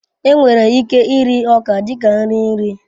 Enwere ike iri ọka dị ka nri nri